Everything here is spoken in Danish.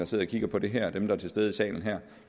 sidder og kigger på det her og dem der er til stede i salen her